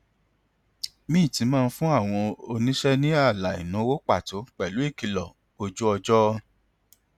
mint máa ń fún àwọn oníṣe ní ààlà ìnáwó pàtó pẹlú ìkìlọ ojú ọjọ